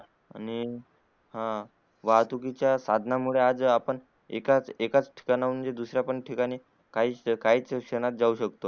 आणि हा वाहतुकीच्या साधना मुळे आज आपण एकाच एकाच ठिकाणावून जे दुसरे पण ठिकाण काही क्षणात जाऊ शकतो